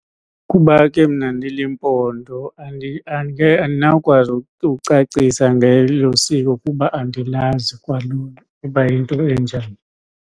Kuba ke mna ndiliMpondo andinawukwazi ukucacisa ngelo siko kuba andilazi kwalona ukuba yinto enjani.